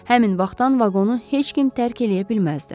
Həmin vaxtdan vaqonu heç kim tərk eləyə bilməzdi.